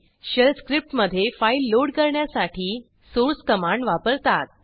shell स्क्रिप्टमधे file load करण्यासाठी source command वापरतात